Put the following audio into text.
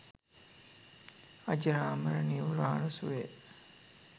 අජරාමර නිර්වාන සුවය